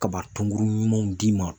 Kaba tonkuru ɲumanw d'i ma